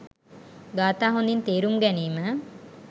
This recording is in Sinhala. ගාථා හොඳින් තේරුම් ගැනීම